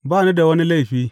Ba ni da wani laifi.